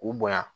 K'u bonya